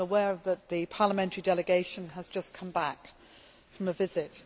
I am aware that the parliamentary delegation has just come back from a visit.